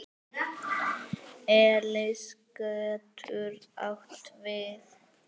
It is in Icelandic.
Elis getur átt við